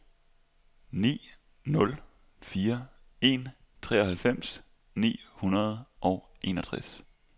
ni nul fire en treoghalvfems ni hundrede og enogtres